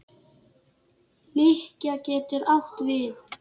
Lykkja getur átt við